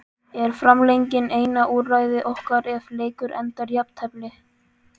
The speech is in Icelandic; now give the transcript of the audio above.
Er framlenging eina úrræði okkar ef leikur endar í jafntefli?